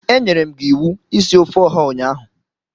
Enyere m gi iwu isi ofe oha ụnyaahụ.